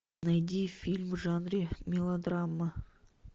найди фильм в жанре мелодрама